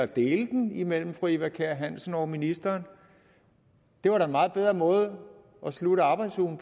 dele den imellem fru eva kjer hansen og ministeren det var da en meget bedre måde at slutte arbejdsugen